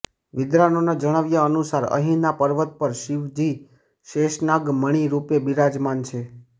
વિદ્વાનોના જણાવ્યા અનુસાર અહીંના પર્વત પર શિવજી શેષનાગ મણી રુપે બિરાજમાન છે